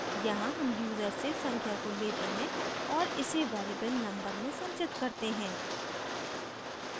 यहाँ हम यूजर से संख्या को लेते हैं और इसे variable number में संचित करते हैं